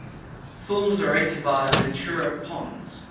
films directed by ventura pons